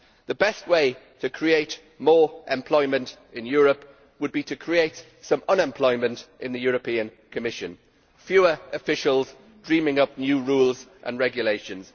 The best way to create more employment in Europe would be to create some unemployment in the European Commission fewer officials dreaming up new rules and regulations